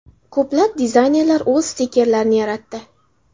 Ko‘plab dizaynerlar o‘z stikerlarini yaratdi.